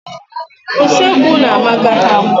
Useekwu unu amaka.